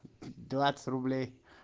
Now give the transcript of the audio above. двадцать рублей